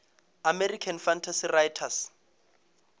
american fantasy writers